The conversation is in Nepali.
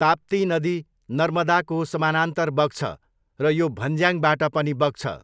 ताप्ती नदी नर्मदाको समानान्तर बग्छ र यो भन्ज्याङ्बाट पनि बग्छ।